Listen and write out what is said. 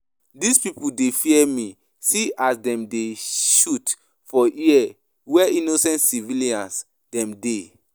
Dis pipu dey fear me, see as dem dey shoot for air where innocent civilian dem dey.